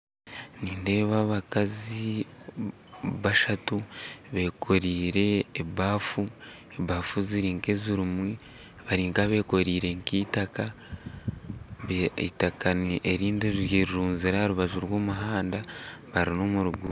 Nindeeba abakazi bashatu bekoreire ebafu ebafu ziri nk'ezirimu bari nkabekoreire nk'eitaka eitaka erindi rirunzire aharubaju rwomuhanda bari nomuruguuto